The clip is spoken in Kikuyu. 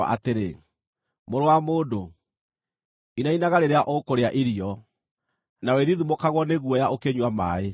“Mũrũ wa mũndũ, inainaga rĩrĩa ũkũrĩa irio, na wĩthithimũkagwo nĩ guoya ũkĩnyua maaĩ.